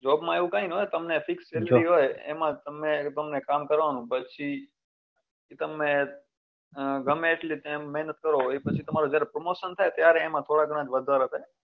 job માં એવું કઈ નાં હોય તમને fix salary હોય એમમાં તમે તમને કામ કરવા નું પછી તમે ગમે એટલી time મહેનત કરો એ પછી જ્યારે તમારું promotion થાય ત્યારે એમાં થોડા ગણું જ વધારો થાય